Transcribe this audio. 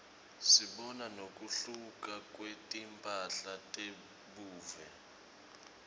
sibona nekuhluka kwetimphahla tebuve